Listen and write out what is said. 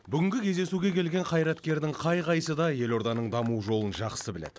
бүгінгі кездесуге келген қайраткердің қай қайсысы да елорданың даму жолын жақсы біледі